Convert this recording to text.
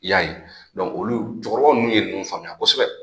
Y'a ye olu cɛkɔrɔbaw ninnu ye nunnu faamuya kosɛbɛ.